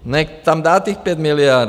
Nechť tam dát těch 5(?) miliard.